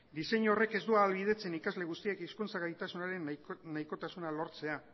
diseinu horrek ez du ahalbidetzen ikasle guztiek hizkuntza gaitasunaren nahikotasuna lortzea